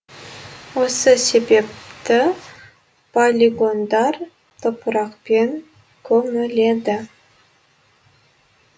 осы себепті полигондар топырақпен көміледі